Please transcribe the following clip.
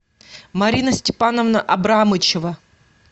марина степановна абрамычева